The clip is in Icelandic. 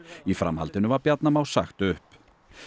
í framhaldinu var Bjarna Má sagt upp